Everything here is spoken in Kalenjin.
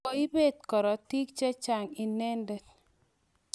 Koipet korotik che chang' inendet.